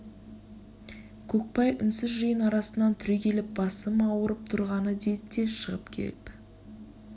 көкбай үнсіз жиын арасынан түрегеліп басым ауырып тұрғаны деді де шығып кепі